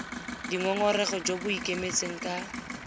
dingongorego jo bo ikemetseng ka